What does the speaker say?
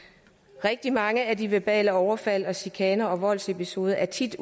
rigtig mange af de verbale overfald chikaner og voldsepisoder er tit